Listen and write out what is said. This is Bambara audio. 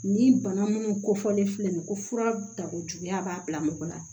Ni bana minnu ko fɔlen filɛ nin ye ko fura dabɔjuguya b'a bila mɔgɔ la